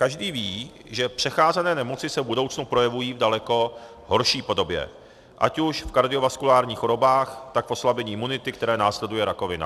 Každý ví, že přecházené nemoci se v budoucnu projevují v daleko horší podobě, ať už v kardiovaskulárních chorobách, tak v oslabení imunity, které následuje rakovina.